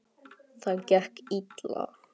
Það gekk illa.